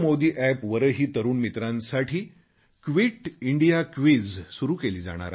NarendraModiApp वरही तरुण मित्रांसाठी क्विट इंडिया क्विझ सुरू केले जाणार आहे